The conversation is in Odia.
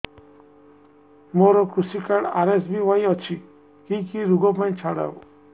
ମୋର କୃଷି କାର୍ଡ ଆର୍.ଏସ୍.ବି.ୱାଇ ଅଛି କି କି ଋଗ ପାଇଁ ଛାଡ଼ ହବ